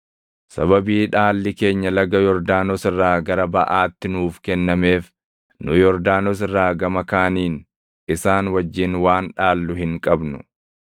Sababii dhaalli keenya laga Yordaanos irraa gara baʼaatti nuuf kennameef nu Yordaanos irraa gama kaaniin isaan wajjin waan dhaallu hin qabnu.”